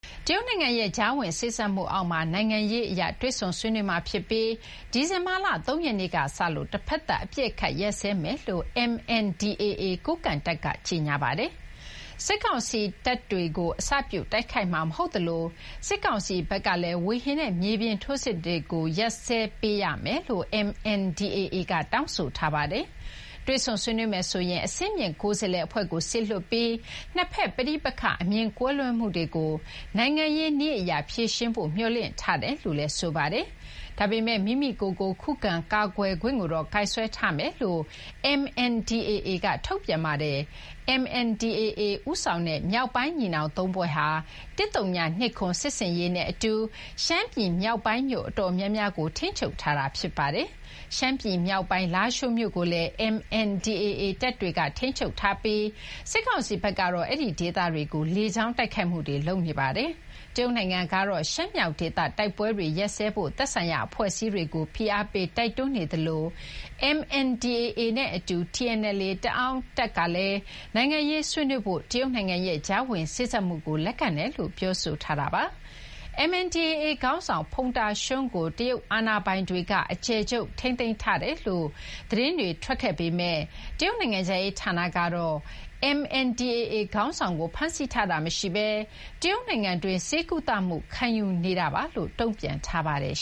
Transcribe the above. တရုတ်နိုင်ငံရဲ့ ကြားဝင်စေ့စပ်မှုအောက်မှာ နိုင်ငံရေးအရတွေ့ဆုံဆွေးနွေးမှာဖြစ်ပြီး၊ ဒီဇင်ဘာလ ၃ ရက်နေ့ကစလို့ တဖက်သတ်အပစ်အခတ်ရပ်စဲမယ်လို့ MNDAA ကိုးကန့်တပ်က ကြေညာပါတယ်။ စစ်ကောင်စီတပ်တွေကို အစပြု တိုက်ခိုက်မှာမဟုတ်သလို၊ စစ်ကောင်စီဘက်ကလည်း ဝေဟင်နဲ့ မြေပြင်ထိုးစစ်တွေကို ရပ်စဲပေးရမယ်လို့လည်း MNDAA က တောင်းဆိုပါတယ်။ တွေ့ဆုံဆွေးနွေးမယ်ဆိုရင် အဆင်မြင့်ကိုယ်စားလှယ်အဖွဲ့ကို စေလွှတ်ပြီး နှစ်ဖက် ပဋိပက္ခအမြင်ကွဲလွဲမှုတွေကို နိုင်ငံရေးနည်းအရ ဖြေရှင်းဖို့ မျှော်လင့်ထားတယ်လို့လည်း ဆိုပါတယ်။ ဒါပေမယ့် မိမိကိုယ်ကို ခုခံကာကွယ်ခွင့်ကိုတော့ ကိုင်စွဲထားမယ်လို့ MNDAA က ထုတ်ပြန်ပါတယ်။ MNDAA ဦးဆောင်တဲ့ မြောက်ပိုင်းညီနောင်သုံးဖွဲ့ဟာ ၁၀၂၇ စစ်ဆင်ရေးနဲ့အတူ ရှမ်းပြည်မြောက်ပိုင်း မြို့အတော်များများကို ထိန်းချုပ်ထားတာပါ။ ရှမ်းပြည်မြောက်ပိုင်း လားရှိုးမြို့ကိုလည်း MNDAA တပ်တွေ ထိန်းချုပ်ထားပြီး၊ စစ်ကောင်စီဘက်ကတော့ အဲဒီဒေသတွေကို လေကြောင်းတိုက်ခိုက်မှုတွေ လုပ်နေပါတယ်။ တရုတ်နိုင်ငံကတော့ ရှမ်းမြောက်ဒေသ တိုက်ပွဲတွေ ရပ်စဲဖို့ သက်ဆိုင်ရာအဖွဲ့အစည်းတွေကို ဖိအားပေးတိုက်တွန်းနေသလို၊ MNDAA နဲ့အတူ TNLA တအောင်းတပ်ကလည်း နိုင်ငံရေးဆွေးနွေးဖို့ တရုတ်နိုင်ငံရဲ့ ကြားဝင်စေ့စပ်မှုကို လက်ခံတယ်လို့ ပြောထားကြပါတယ်။ MNDAA ခေါင်းဆောင် ဖုန်တာရွှန်းကို တရုတ်အာဏာပိုင်တွေက အကျယ်ချုပ်ထိန်းသိမ်းထားတယ်လို့ သတင်းတွေ ထွက်ခဲ့ပေမယ့်၊ တရုတ်နိုင်ငံခြားရေးဌာနကတော့ MNDAA ခေါင်းဆောင်ကို ဖမ်းဆီးထားတာမရှိပဲ တရုတ်နိုင်ငံတွင်း ဆေးကုသမှုခံယူနေတာပါလို့ တုံ့ပြန်ထားပါတယ်